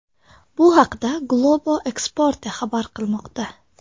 Bu haqda Globo Esporte xabar qilmoqda .